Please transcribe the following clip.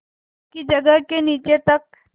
पक्की जगत के नीचे तक